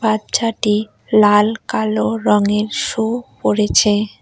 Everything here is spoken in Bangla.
বাচ্চাটি লাল কালো রংয়ের শু পড়েছে।